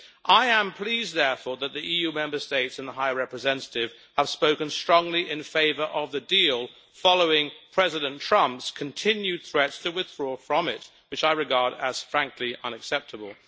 I am pleased, therefore, that the EU Member States and the High Representative have spoken strongly in favour of the deal, following President Trump's continued threats to withdraw from it, which I regard as unacceptable.